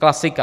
Klasika.